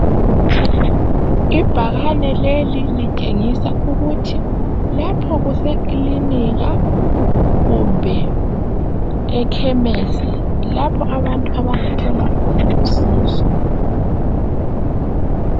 Ibhakane leli litshengisa ukuthi lapho kusekiliniki kumbe ekhemesi. Lapho abantu abangathola khona usizo.